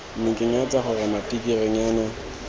ne ke nyatsa gore matikirinyana